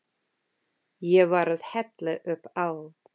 Ég var að hella upp á.